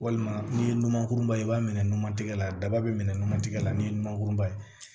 Walima ni ye numankuruba ye i b'a minɛ numantigɛ la daba bɛ minɛ nɔnɔ tigɛ ni numankurunba ye